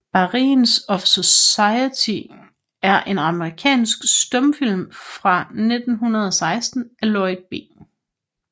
Barriers of Society er en amerikansk stumfilm fra 1916 af Lloyd B